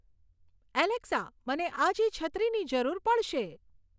Alexa મને આજે છત્રીની જરૂર પડશે